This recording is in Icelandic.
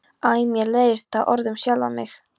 Æ mér leiðist það orð um sjálfa mig.